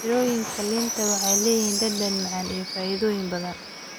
Mirooyinka liinta waxay leeyihiin dhadhan macaan iyo faa'iidooyin badan.